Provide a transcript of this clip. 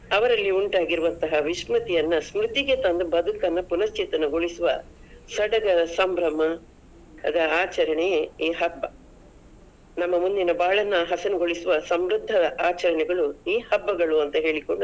ಅವರಲ್ಲಿ ಉಂಟಾಗಿರುವಂತಹ ವಿಶ್ಮತಿಯನ್ನ ಸ್ಮೂತಿಗೆ ತಂದು ಬದುಕನ್ನ ಪುಣ್ಯರ್ಚೇತನಗೊಳಿಸುವ ಸಡಗರ, ಸಂಭ್ರಮದ ಆಚರಣೆಯೇ ಈ ಹಬ್ಬ. ನಮ್ಮ ಮುಂದಿನ ಬಾಳನ್ನ ಹಸುರುಗೊಳಿಸುವ ಸಮೃದ್ಧ ಆಚರಣೆಗಳು ಈ ಹಬ್ಬಗಳು ಅಂತ ಹೇಳಿಕೊಂಡು.